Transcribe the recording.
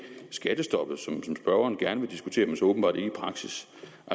skattestoppet som spørgeren gerne vil diskutere men så åbenbart ikke i praksis